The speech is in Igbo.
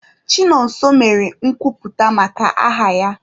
Chinonso mere nkwuputa maka aha ya.